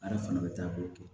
A yɛrɛ fana bɛ taa k'o kɛ